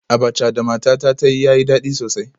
Abacha da matata ta yi yayi dadi sosai